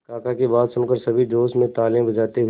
काका की बात सुनकर सभी जोश में तालियां बजाते हुए